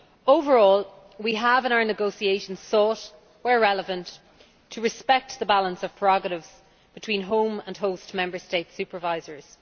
Overall, we have in our negotiations sought, where relevant, to respect the balance of prerogatives between home and host Member State supervisors.